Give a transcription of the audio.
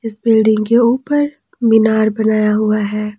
इस बिल्डिंग के ऊपर मीनार बनाया हुआ है।